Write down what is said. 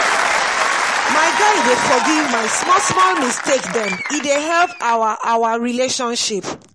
my guy dey forgive my small-small mistake dem e dey help our our relationship.